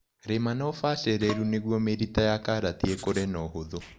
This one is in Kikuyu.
Rima na ũbacĩrĩru nĩguo mĩrita ya karati ĩkũre na ũhũthũ.